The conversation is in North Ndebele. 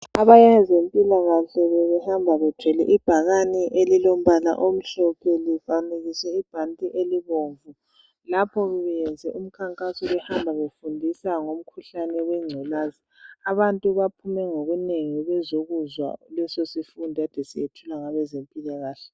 Abezempilakahle bebehamba bethwele ibhakane elilombala omhlophe lifanekiswe ibhanti elibomvu. Lapho bebe yenze umkhankaso behamba befundisa ngomkhuhlane we ngculaza. Abantu baphume ngobunengi bezokuzwa leso sifundo ade sisethulwa ngabe zempilakahle .